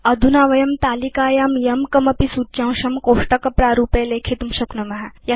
अधुना वयं तालिकायां यं कमपि सूच्यांशं कोष्टकप्रारूपे लेखितुं शक्नुम